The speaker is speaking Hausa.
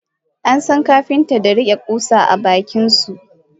Ansan Kapinta da rike kusa a bakinsu.